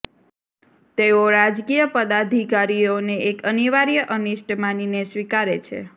તેઓ રાજકીય પદાધિકારીઓને એક અનિવાર્ય અનિષ્ટ માનીને સ્વીકારે છે